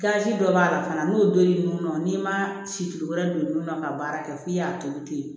dɔ b'a la fana n'o don l'o n'i ma situlu wɛrɛ don nun na ka baara kɛ f'i y'a tobi ten